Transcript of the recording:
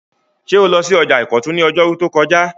Ṣé o lọ sí ọjà ìkọ̀tún ní ọjọ́rú tó kọjá?